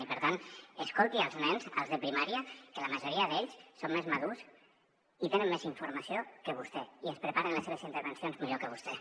i per tant escolti els nens els de primària que la majoria d’ells són més madurs i tenen més informació que vostè i es preparen les seves intervencions millor que vostè